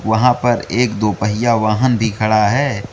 वहां पर एक दो पहिया वाहन भी खड़ा है।